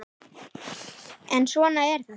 En svona er þetta!